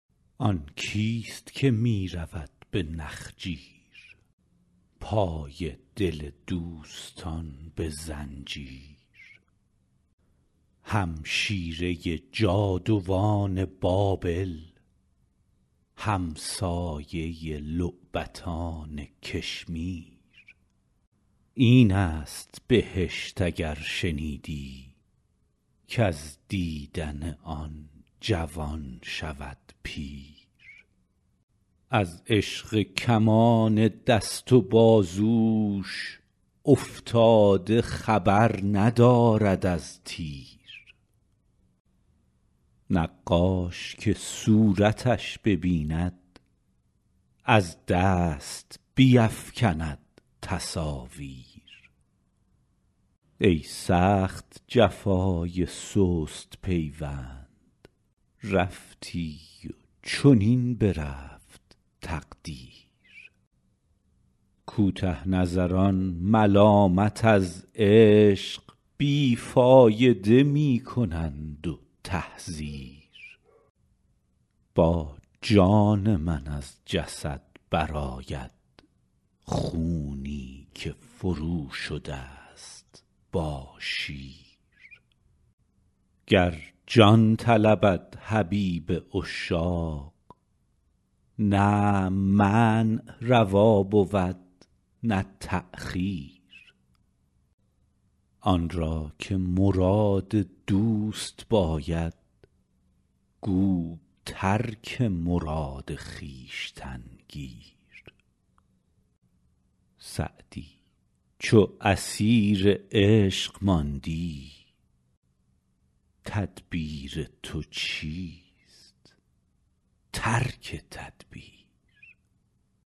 آن کیست که می رود به نخجیر پای دل دوستان به زنجیر همشیره جادوان بابل همسایه لعبتان کشمیر این است بهشت اگر شنیدی کز دیدن آن جوان شود پیر از عشق کمان دست و بازوش افتاده خبر ندارد از تیر نقاش که صورتش ببیند از دست بیفکند تصاویر ای سخت جفای سست پیوند رفتی و چنین برفت تقدیر کوته نظران ملامت از عشق بی فایده می کنند و تحذیر با جان من از جسد برآید خونی که فروشده ست با شیر گر جان طلبد حبیب عشاق نه منع روا بود نه تأخیر آن را که مراد دوست باید گو ترک مراد خویشتن گیر سعدی چو اسیر عشق ماندی تدبیر تو چیست ترک تدبیر